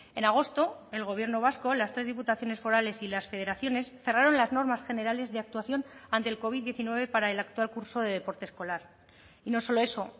en agosto el gobierno vasco las tres diputaciones forales y las federaciones cerraron las normas generales de actuación ante el covid diecinueve para el actual curso de deporte escolar y no solo eso